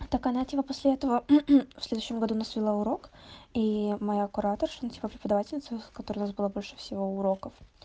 так она типа после этого в следующем году у нас вела урок и моя кураторша ну типа преподавательница у которой у нас было больше всего уроков